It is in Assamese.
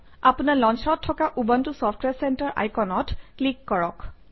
আপোনাৰ Launcher অত থকা উবুণ্টু চফট্ৱেৰ চেণ্টাৰ আইকনত ক্লিক কৰক